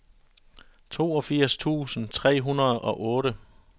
toogfirs tusind tre hundrede og otte